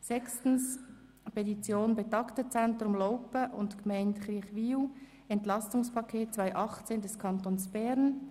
Sechstens: Petition des Betagtenzentrums Laupen und der Gemeinde Kirchwil: «Entlastungspaket des Kantons Bern».